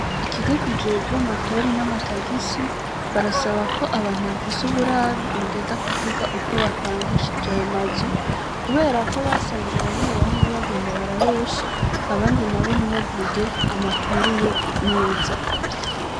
Ikigo kije jwo makori n'amatagisi barasaba ko abantu bafise uburaro bogenda kuvuga uko bapangishije ayo mazu, kubera ko basanze bamwe bamwe bagenda barabesha abandi na bo ntibavuge amakuru yo neza.